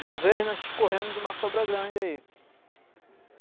Uma vez nós corremos de uma cobra grande aí.